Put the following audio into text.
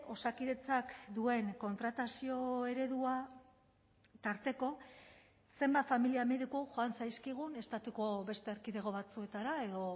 osakidetzak duen kontratazio eredua tarteko zenbat familia mediku joan zaizkigun estatuko beste erkidego batzuetara edo